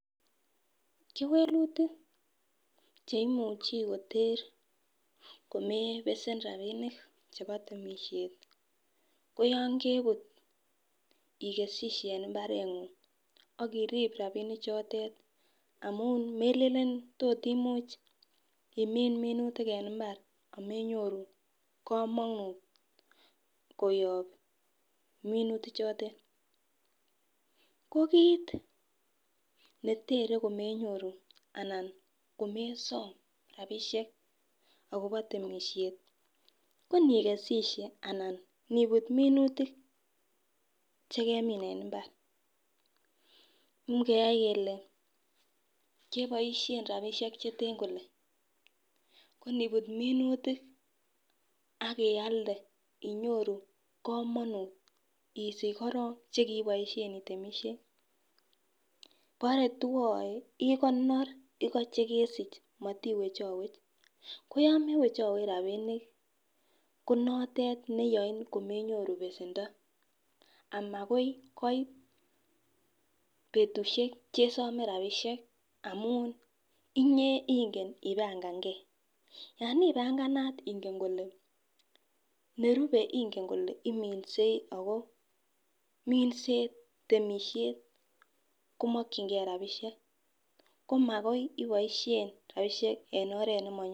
Kewelutik cheimuch koter komebesen rabinik chebo temisiet ko yoon ke wee ikesishe en imbar. Akorib rabinik chotet amuun melen tot imuch imin minutik en imbar amenyoru kamanut koyab minutik choto. Ko kit netere komenyoru anan komesom rabisiek akopo temisiet nibut minutik chegemin en imbar ingeyai kele akialde inyoru kamanut ishich koron chekiibaishen itemishei bore twae ikonor Iko chekesich matiwech koyamewech rabinik konatet neyae komenyoru besendo betusiek chesome rabisiek amuun. Yoon ibanganat ingen kole iminsei Ako minset temisiet komakyinge rabisiek komakoi ibaishen rabisiek en oret nemanyalu